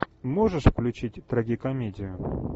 можешь включить трагикомедию